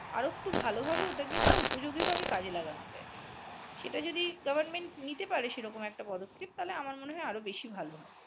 আর একটু ভাল ভাবে ওটা কে কেউ উপযোগী ভাবে কাজে লাগানো যায় সেটা যদি govt. নিতে পারে সেরকম একটা পদক্ষেপ তাহলে আমার মনে হয় আরো বেশী ভাল হবে